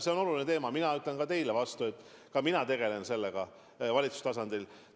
See on oluline teema ja ma ütlen teile vastates, et ka mina tegelen sellega valitsustasandil.